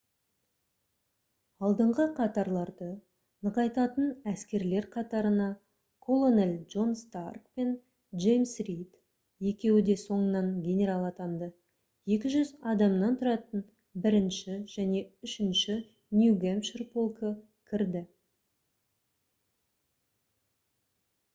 алдыңғы қатарларды нығайтатын әскерлер қатарына колонель джон старк пен джеймс рид екеуі де соңынан генерал атанды 200 адамнан тұратын 1-ші және 3-ші нью-гэмпшир полкі кірді